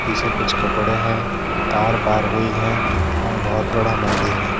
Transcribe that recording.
पीछे कुछ कपड़े हैं तार पार होइ है और बहुत बड़ा मंदिर है।